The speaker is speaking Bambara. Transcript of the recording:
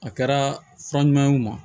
A kɛra fura ɲuman ye o ma